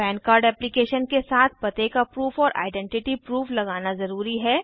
पन card application के साथ पते का प्रूफ और आइडेंटिटी प्रूफ लगाना ज़रूरी है